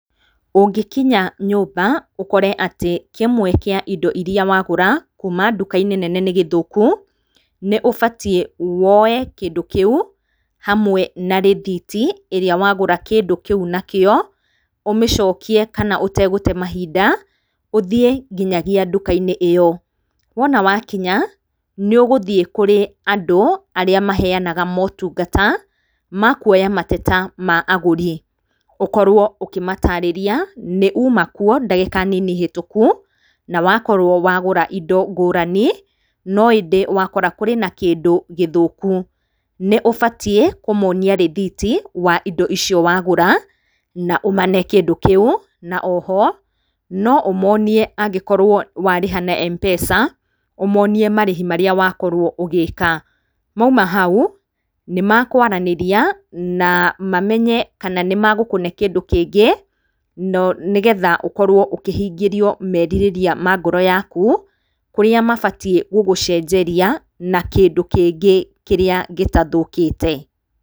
Ũngĩkinya nyũmba ũkore atĩ kĩmwe kĩa indo irĩa wagũra kuuma nduka-inĩ nene nĩ gĩthũku, nĩ ũbatiĩ woe kĩndu kĩu hamwe na rĩthiti iria wagũra kĩndũ kĩu nakio, ũmĩcokiĩ kana ũtegũte mahinda ũthiĩ nginya nduka-inĩ iyo. Wona wakinya nĩ ũgũthiĩ kũri andũ arĩa maheanaga motungata ma kũoya mateta ma agũri, ũkorwo ũkĩmatarĩria nĩ uma kuo ndagĩka nini hetũku, na wakorwo wagũra indo ngũrani, no ĩndĩ wakora kũrĩ na kĩndũ gĩthũkũ. Nĩ ũbatiĩ kũmonĩa rĩthiti wa indo icio wagũra na ũmane kĩndũ kĩu, na oho no ũmonie angĩkorwo warĩha na Mpesa ũmonie marĩhĩ marĩa wakorwo ũgĩka. Maũma hau makwaranĩrĩa na mamenye kana nĩ magũkũne kĩndũ kĩngĩ, nĩgetha ũkorwo ũkĩhingĩrio meririrĩa ma ngoro yakũ kũrĩa mabatiĩ gũgũcenjeria na kĩndũ kĩngĩ kĩrĩa gĩtathũkĩte.